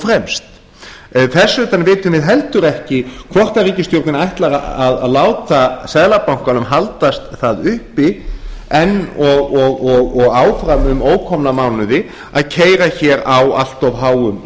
fremst þess utan vitum við heldur ekki hvort ríkisstjórnin ætlar að láta seðlabankanum haldast það uppi enn og áfram um ókomna mánuði að keyra hér á allt of háum